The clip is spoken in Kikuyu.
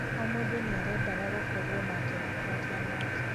"O mũndu niarendaga gũkorwo nake na kwaria nake".